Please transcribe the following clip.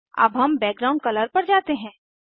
अब हम background colour पर जाते हैं